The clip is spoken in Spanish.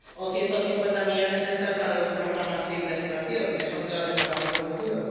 o 150 millones de euros extras para los programas de investigación, que son clave para nuestro futuro